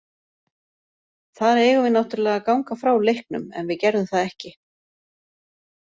Þar eigum við náttúrlega að ganga frá leiknum en við gerðum það ekki.